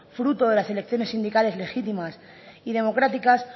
fruto de las elecciones sindicales legítimas y democráticas